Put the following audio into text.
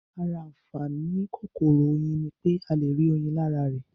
Ara àǹfàaní kòkòrò Oyin ní pé a le rí oyin lára rẹ̀